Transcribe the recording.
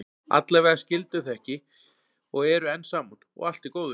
Allavega skildu þau ekki og eru enn saman, og allt í góðu.